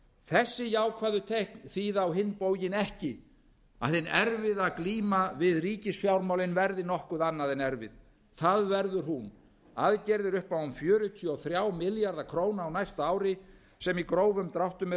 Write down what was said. þessi jákvæðu teikn bíða á hinn bóginn ekki að hin erfiða glíma við ríkisfjármálin verði nokkuð annað en erfið það verður hún aðgerðir upp á um fjörutíu og þrjá milljarða króna á næsta ári sem í grófum dráttum eru